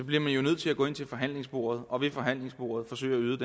bliver man nødt til at gå ind til forhandlingsbordet og ved forhandlingsbordet forsøge